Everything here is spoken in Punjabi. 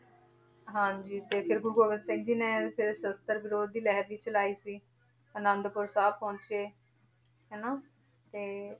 ਹਾਂਜੀ ਤੇ ਫਿਰ ਗੁਰੂ ਗੋਬਿੰਦ ਸਿੰਘ ਜੀ ਨੇ ਫਿਰ ਸਸ਼ਤਰ ਵਿਰੋਧੀ ਲਹਿਰ ਵੀ ਚਲਾਈ ਸੀ, ਅਨੰਦਪੁਰ ਸਾਹਿਬ ਪਹੁੰਚ ਕੇ ਹਨਾ ਤੇ